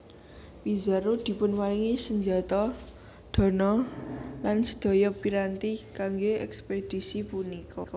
Pizarro dipunparingi senjata dana lan sedaya piranti kangge ekspedisi punika